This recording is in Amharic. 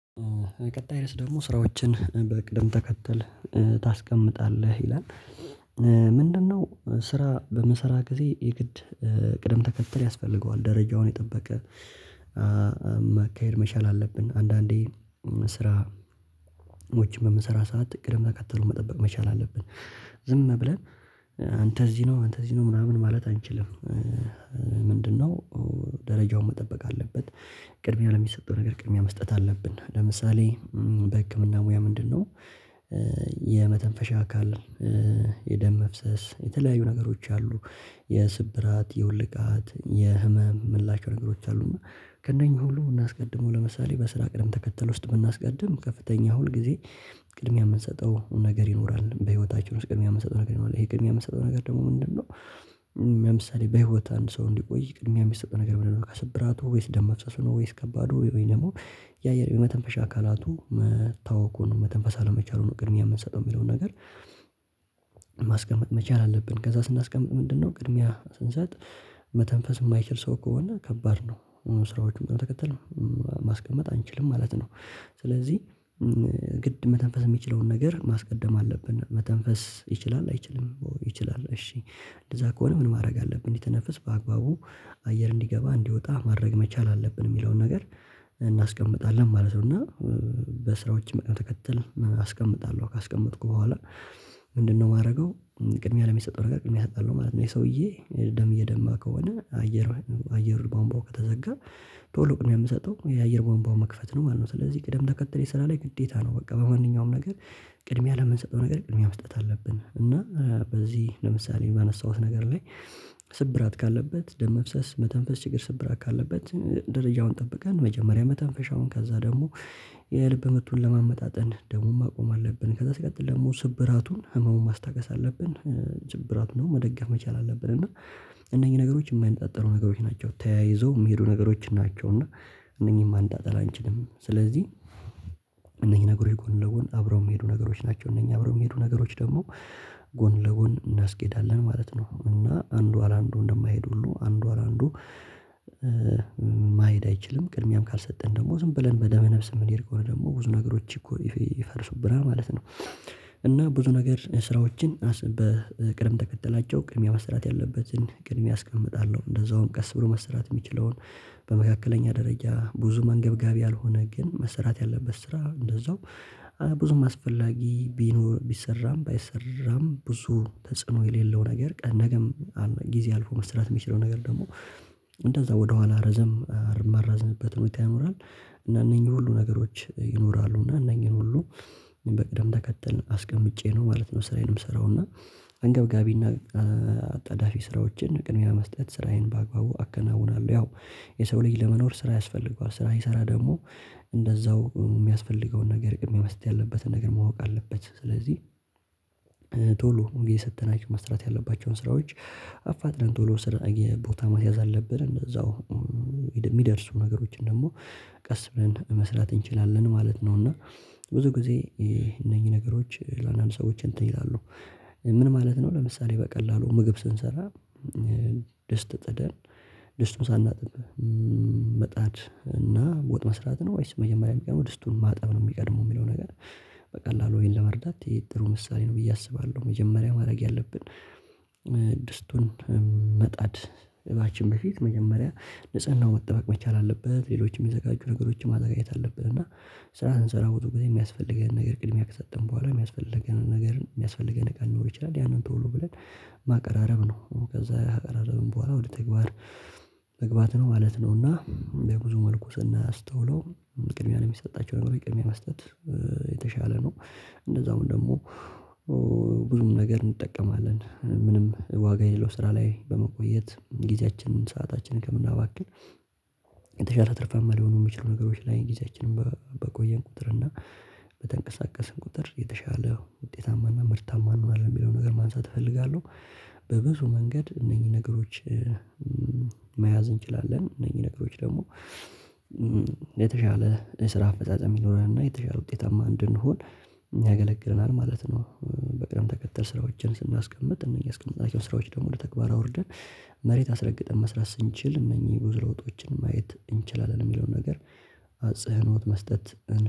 ቀጣይ ድረስ ደግሞ ስራዎችን በቅድም ተከተል ታስቀምጣለህ ይላል ምንድነው ስራ በምሰራ ጊዜ የግድ ቅደም ተከተል ያስፈልገዋል ደረጃውን የጠበቀ መሻል አለብን አንዳንዴ ስራዎችን በምንሰራ ሰዓት እቅድም ተከትሎ መጠበቅ መቻል አለብን ዝም ብለን አንተ እዚህ ነው አንተ እዚህ ነው ምናምን ማለት አንችልም ምንድነው ደረጃውን መጠበቅ አለበት ቅድሚያ ለሚሰጠው ነገር ቅድሚያ መስጠት አለብን ለምሳሌ በህክምና ሙያ ምንድነው የመተንፈሻ አካል፣ የደም መፍሰስ፣ የተለያዩ ነገሮች አሉ የስብራት፣ የወልቃት፣ የህመም ምላሽ ነገሮች አሉና ከእነኚህ ሁሉ እናስቀድመው ለምሳሌ በስራ ቅድም ተከተል ውስጥ ብናስቀድም ከፍተኛ ሁል ጊዜ ቅድሚያ የምንሰጠው ነገር ይኖራል። በህይወታችን ውስጥ ቅድሚያ የምንሰጠው ነገር ይኖራል፤ ይሄ ቅድሚያ የምንሰጠው ነገር ደግሞ ምንድነው ለምሳሌ በህይወት አንድ ሰው እንዲቆይ ቅድሚያ የሚያስጠው ነገር ምንድነው? ከስብራቱ ወይስ፣ ደም መፍሰሱ ነው ወይስ ከባዱ ወይስ፣ ደግሞ የአየር የመተንፈሻ አካላቱ መታወኩን፣ መተንፈስ አለመቻሉን ቅድሚያ የምንሰጠው የሚለውን ነገር ማስቀመጥ መቻል አለብን። ከዛ ስናስቀምጥ ምንድነው ቅድሚያ ስንሰጥ መተንፈስ የማይችል ሰው ከሆነ ከባድ ነው ስራዎችን በቅደም ተከተል ማስቀመጥ አንችልም ማለት ነው። ስለዚህ ግድ መተንፈስ የሚችለውን ነገር ማስቀደም አለብን መተንፈስ ይችላል አይችልም ይችላል እሺ እንደዛ ከሆነ ምን ማድረግ አለብን እንዲተነፍስ በአግባቡ አየር እንዲገባ እንዲወጣ ማድረግ መቻል አለብን የሚለውን ነገር እናስቀምጣለን ማለት ነው። እና በስራዎች ቅደል ተከተል አስቀምጣለሁ ካስቀመጥኩ በኋላ ምንድነው ማደርገው ቅድሚያ ለሚሰጠው ነገር ቅድሚያ እሰጣለው ማለት ነው። የሰውዬ ደም እየደማ ከሆነ አየር አየር ባምባው ከተዘጋ ቶሎ ቅድምያ የምሰጠው የአየር ባንባው መክፈት ነው ማለት ነው። ስለዚህ ቅደም ተከተል የሰራ ላይ ግዴታ ነው። በቃ በማንኛውም ነገር ቅድሚያ ለምንሰጠው ነገር ቅድሚያ መስጠት አለብን። እና በዚህ ለምሳሌ ባነሳሁት ነገር ላይ ስብራት ካለበት ደም መፍሰስ መተንፈስ ችግር ስብራት ካለበት ደረጃውን ጠብቀን መጀመሪያ መተንፈሻውን ከዛ ደግሞ የልብ ምቱን ለማመጣጠን ደሙን ማቆም አለብን ከዛ ሲቀጥል ደግሞ ስብራቱን ህመሙን ማስታገስ አለብን ጭብራት ነው መደጋፍ መቻል አለብን እና እነኚህ ነገሮች የማይነጣጠሩረ ነገሮች ናቸው ተያይዘው የሚሄዱ ነገሮች ናቸው እና እነኚህ ማንጣጠል አንችልም ስለዚህ እነኚህ ነገሮች ጎን ለጎን አብረው የሚሄዱ ነገሮች ናቸው እነኚህ አብረው የሚሄዱ ነገሮች ደግሞ ጎን ለጎን እናስኬዳለን ማለት ነው። እና አንዱ አላንዱ እንደማይሄድ ሁሉ አንዱ አላንዱ ማይሄድ አይችልም። ቅድሚያም ካልሰጠን ደግሞ ዝም ብለን በደመ ነፍስ የምንሄድበት ደግሞ ብዙ ነገሮች እኮ ይፈርሱብናል ማለት ነው። እና ብዙ ነገር ስራዎችን በቅርብ ተከተላቸው ቅርብ ቅድሚያ መሰራት ያለበትን ቅድሚያ አስቀምጣለሁ። እንደዛውም ቀስ ብሎ መሰራት የሚችለውን በመካከለኛ ደረጃ ብዙ መንገብጋቢ ያልሆነ ግን መስራት ያለበት ስራ እንደዛው ብዙም አስፈላጊ ቢኖር ቢሰራም ባይሰራም ብዙ ተጽዕኖ የሌለው ነገር ነገም ጊዜ አልፎ መስራት የሚችለው ነገር ደግሞ እንደዛ ወደኋላ ረዘም ማራዝምበት ሁኔታ ይኖራል። እና እነኚህ ሁሉ ነገሮች ይኖራሉ እና እነኚህን ሁሉ በቅድም ተከተልን አስቀምጫ ነው ማለት ነው ስራዬን ምስራውና አንገብጋቢና አጣዳፊ ስራዎችን ቅድሚያ መስጠት ስራዬን በአግባቡ አከናውናለሁ ያው የሰው ልጅ ለመኖር ስራ ያስፈልገዋል። ስራ ሲሰራ ደግሞ እንደዛው የሚያስፈልገው ነገረ ቅድሚያ መስጠት ያለበትነገር ማወቅ አለበት። ስለዚህ ቶሎ ግዝየ የሰጠናቸው መስራት ያለባቸውን ስራዎች አፋጥነን ቶሎ ስራ የቦታ መስያዝ አለብን። እንደዛው የሚደርሱ ነገሮችን ደግሞ ቀስ ብለን መስራት እንችላለን ማለት ነው እና ብዙ ጊዜ እነኚህ ነገሮች ለአንዳንድ ሰዎች እንትን ይላሉ ምን ማለት ነው ለምሳሌ በቀላሉ ምግብ ስንሰራ ደስት ጥደን ደስቱን ሳናጥብ መጣድ እና ወጥ መስራት ነው ወይስ መጀመሪያ የሚቀድመው ድስቱን ማጠብ ነው የሚቀድመው የሚለው ነገር በቀላሉ ወይን ለመርዳት ጥሩ ምሳሌ ነው ብዬ አስባለሁ መጀመሪያ ማድረግ ያለብን ድስቱን መጣድ እባችን በፊት መጀመሪያ ንጽህናው ወጥበቅ መቻል አለበት ሌሎችም የሚዘጋጁ ነገሮችም ማጠጋየት አለበት እና ስራ ስንሰራ ሁሉ ግዝየአንሰራውትም የሚያስፈልገንን ነገር ቅድሚያ ከሰጠን በኋላ የሚያስፈልገንን ነገር የሚያስፈልገንን ቃል ሊኖር ይችላል ያንን ተውሎ ብለን ማቀራረብ ነው ከዛ ማቀራረብም በኋላ ወደ ተግባር መግባት ነው ማለት ነው እና የብዙ መልኩ ስናስተውለው ቅድሚያ ነው የሚሰጣቸው ነገሮች ቅድሚያ መስጠት የተሻለ ነ። እንደዛውም ደግሞ ብዙ ነገር እንጠቀማለን ምንም ዋጋ የሌለው ስራ ላይ በመቆየት ጊዜያችንን ሰአታችንን ከምናባክን የተሻለ ትርፍማ ሊሆኑ የሚችሉ ነገሮች ላይ ጊዜያችንን በቆየን ቁጥር እና በተንቀሳቀስን ቁጥር የተሻለ ውጤታማና ምርታማ ነው የሚለው ነገር ማንሳት እፈልጋለሁ። በብዙ መንገድ እነኚህ ነገሮች መያዝ እንችላለን። እነኚህ ነገሮች ደግሞ የተሻለ ስራ አፈጻጸም እንዲኖረን እና የተሻለ ውጤታማ እንድንሆን ያገለግለናል ማለት ነው። በቅደም ተከተል ስራዎችን ስናስቀምጥ እነዚህ ያስቀመጣቸውን ስራዎች ደግሞ ወደ ተግባር አውርደን መሬት አስረግጠን መስራት ስንችል እነኚህ ብዙ ለውጦችን ማየት እንችላለን የሚለውን ነገር አጽህኖት መስጠት